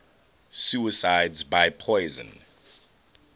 suicides by poison